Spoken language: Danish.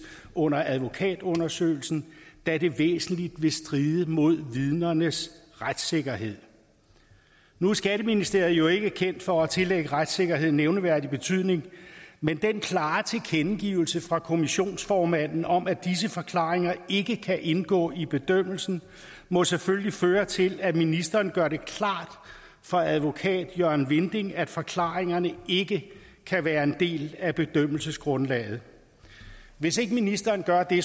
under advokatundersøgelsen da det væsentligt vil stride mod vidnernes retssikkerhed nu er skatteministeriet jo ikke kendt for at tillægge retssikkerheden nævneværdig betydning men den klare tilkendegivelse fra kommissionens formand om at disse forklaringer ikke kan indgå i bedømmelsen må selvfølgelig føre til at ministeren gør det klart for advokat jørgen vinding at forklaringerne ikke kan være en del af bedømmelsesgrundlaget hvis ikke ministeren gør det